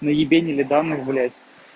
наебенили данных блядь